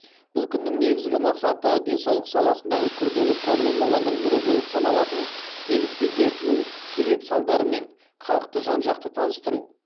бұл күннің негізгі мақсаты денсаулық саласындағы күрделі проблемалардың бірі болып саналатын демікпе дертінің себеп салдарларымен халықты жан жақты таныстыру